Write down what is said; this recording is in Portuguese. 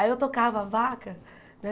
Aí eu tocava a vaca, né?